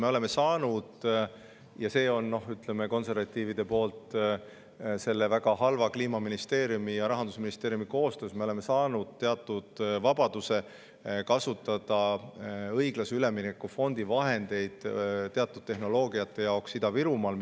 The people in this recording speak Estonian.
Me oleme saanud – seda konservatiivide poolt väga halvaks Kliimaministeeriumi ja Rahandusministeeriumi koostöös – teatud vabaduse kasutada õiglase ülemineku fondi vahendeid teatud tehnoloogia jaoks Ida-Virumaal.